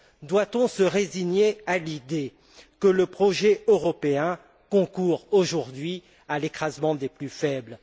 Doit on se résigner à l'idée que le projet européen concourt, aujourd'hui, à l'écrasement des plus faibles?